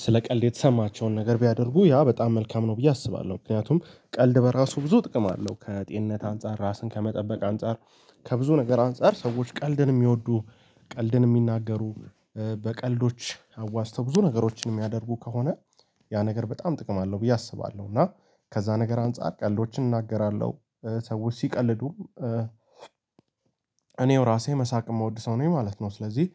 ስለ ቀልድ የተሰማቸውን ነገር ቢያደርጉ፣ ያ በጣም መልካም ነው ብዬ አስባለሁ። ምክንያቱም ቀልድ በራሱ ብዙ ጥቅም አለው ከጤንነት አንፃር፣ ራስን ከመጠበቅ አንፃር ከብዙ ነገር አንፃር ሰዎች ቀልድን የሚወዱ፣ ቀልድን የሚናገሩ በቀልዶች አዋዝተው ብዙ ነገሮችን የሚያደርጉ ከሆነ ያ ነገር በጣም ጥቅም አለው ብዬ አስባለሁ። እና ከዛ ነገር አንፃር ቀልዶችን እናገራለሁ፣ ሰዎች ሲቀልዱም እኔው ራሴ መሳቅ የምወድ ሰው ነው ማለት ነው። ስለዚህ